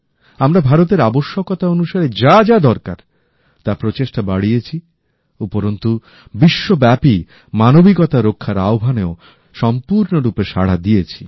আমরা ভারতের আবশ্যক অনুসারে যা যা দরকার তার প্রচেষ্টা বাড়িয়েছি উপরন্তু বিশ্বব্যাপী মানবিকতা রক্ষার আহ্বানেও সম্পূর্ণরূপে সাড়া দিয়েছি